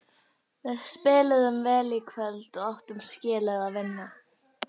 Við spiluðum vel í kvöld og áttum skilið að vinna.